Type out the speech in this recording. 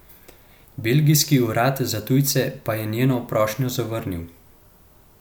Belgijski urad za tujce pa je njeno prošnjo zavrnil.